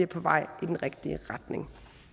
på vej i den rigtige retning